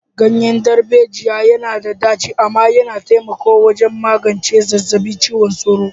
Ganyen darbejiya yana da ɗaci amma yana taimakawa wajen magance zazzabin cizon sauro.